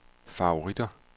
favoritter